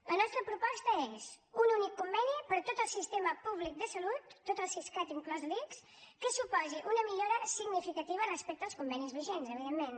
la nostra proposta és un únic conveni per a tot el sistema públic de salut tot el siscat inclòs l’ics que suposi una millora significativa respecte als convenis vigents evidentment